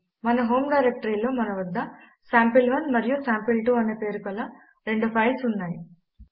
మన హోమ్ డైరెక్టరీలో మన వద్ద sample1మరియు సాంపిల్2 అనే పేరు కల రెండు ఫైల్స్ ఉన్నాయి